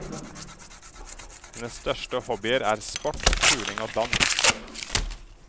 Hennes største hobbier er sport, turning og dans.